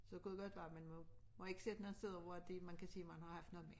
Så kunne det godt være man må må ikke sidde nogle steder hvor de man kan se man har haft noget med